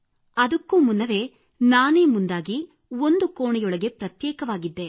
ಅದಕ್ಕೂ ಮುನ್ನವೇ ನಾನೇ ಮುಂದಾಗಿ ಒಂದು ಕೋಣೆಯೊಳಗೆ ಪ್ರತ್ಯೇಕವಾಗಿದ್ದೆ